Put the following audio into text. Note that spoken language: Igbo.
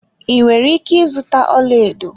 Ị nwere ike ịzụta ọlaedo